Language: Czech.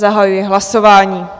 Zahajuji hlasování.